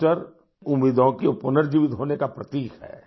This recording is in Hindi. ईस्टर उम्मीदों के पुनर्जीवित होने का प्रतीक है